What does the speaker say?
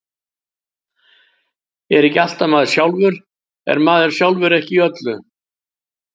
Er ekki allt maður sjálfur, er maður sjálfur ekki í öllu?